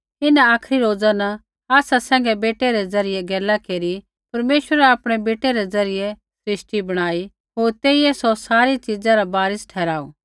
इन्हां आखरी रोजा न आसा सैंघै बेटै रै ज़रियै गैला केरी परमेश्वरै आपणै बेटै रै ज़रियै सृष्टि बणाई होर तेइयै सौ सारी च़ीज़ा रा वारिस ठहराऊ